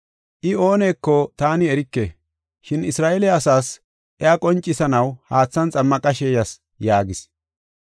I ooneko taani erike. Shin Isra7eele asaas iya qoncisanaw haathan xammaqashe yas” yaagis.